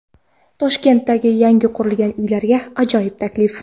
Toshkentdagi yangi qurilgan uylarga ajoyib taklif.